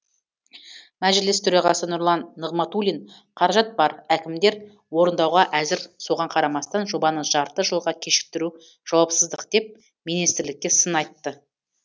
мәжіліс төрағасы нұрлан нығматулин қаражат бар әкімдер орындауға әзір соған қарамастан жобаны жарты жылға кешіктіру жауапсыздық деп министрлікке сын айтты